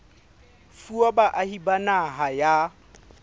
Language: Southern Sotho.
fuwa baahi ba naha ya